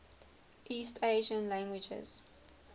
east asian languages